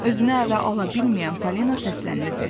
Özünü ələ ala bilməyən Falina səslənirdi.